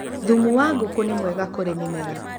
thumu wa ngũkũ nĩ mwega kũrĩ mĩmera.